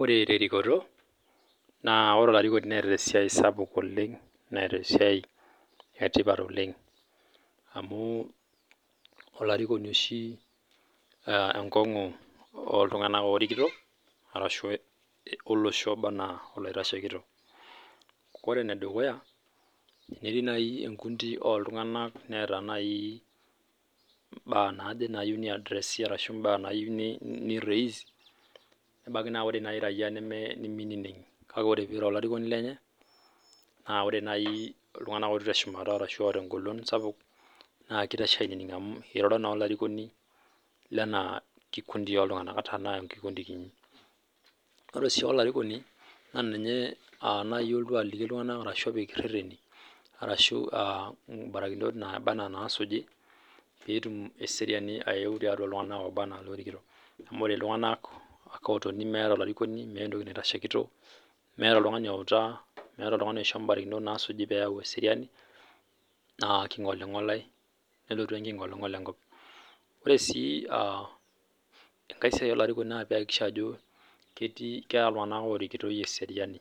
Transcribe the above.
Ore terikoto naa ore olarikoni netaa esiai sapuk oleng netaa esiai sapuk oleng amu olarikoni oshi enkongu oltung'ana orikito ashu olosho oba ena olorikitoore enedukuya tenetii naaji enkundi oltung'ana netaa naaji mbaa naaje neyieu orais nebaiki naaji ore raia nimininig kake ore pee eiro olarikoni lenye naa ore naaji iltung'ana otii teshumata ashu otaa egolon sapuk naa kitashekini amu eiroro naa olarikoni Lena kikundi oltung'ana ata Tena kiti ore oshi olarikoni naa ninye olotu aliki iltung'ana ashu ninye opik ereteni arashu barakinot nabaa ena nasuji petum eseriani ayeu too iltung'ana obaa ena elorikito amu ore iltung'ana otone metaa olarikoni metaa oltung'ani oitashekito metaa oltung'ani owutaa metaa oltung'ani oishoyi mbarakinot naasuji pee eyau eseriani naa kingolingolae nelotu enkingolingol enkop ore sii enkae siai olarikoni naa pee eyakikisha Ajo ketaa iltung'ana orikitoi eseriani